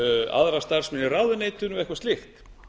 aðra starfsmenn í ráðuneytinu og eitthvað slíkt